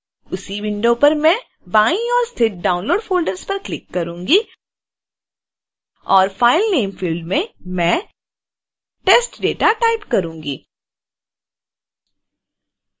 उसी विंडो पर मैं बाईं ओर स्थित downloads फ़ोल्डर पर क्लिक करूंगी